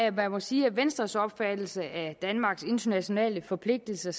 at man må sige at venstres opfattelse af danmarks internationale forpligtelser